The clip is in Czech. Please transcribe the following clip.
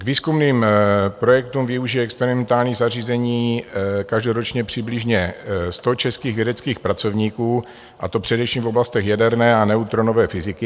K výzkumným projektům využije experimentální zařízení každoročně přibližně sto českých vědeckých pracovníků, a to především v oblastech jaderné a neutronové fyziky.